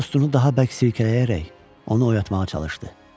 O dostunu daha bərk silkələyərək onu oyatmağa çalışdı.